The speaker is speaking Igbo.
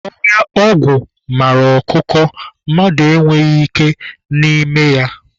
Ọhịa ogwu mara ọkụkọ, mmadụ e nweghị ike na n'ime ya.